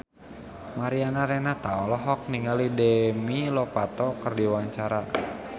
Mariana Renata olohok ningali Demi Lovato keur diwawancara